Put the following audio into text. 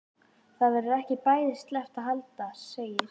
Það verður ekki bæði sleppt og haldið segir